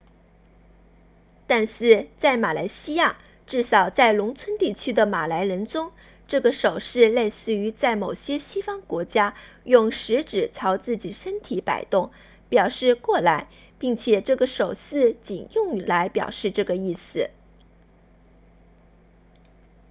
但是在马来西亚至少在农村地区的马来人中这个手势类似于在某些西方国家用食指朝自己身体摆动表示过来并且这个手势仅用来表示这个意思